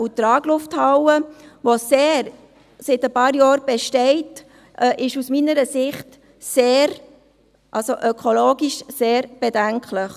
Die Traglufthalle, die seit ein paar Jahren besteht, ist aus meiner Sicht ökologisch sehr bedenklich.